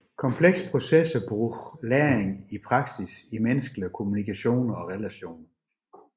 Komplekse processer bruger læring i praksis i menneskelige kommunikationer og relationer